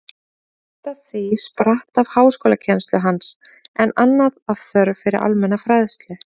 Margt af því spratt af háskólakennslu hans, en annað af þörf fyrir almenna fræðslu.